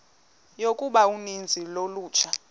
yokuba uninzi lolutsha